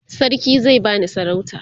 sarki zai bani sarauta